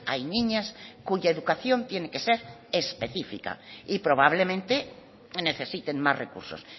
hay niñas cuya educación tiene que ser específica y probablemente necesiten más recursos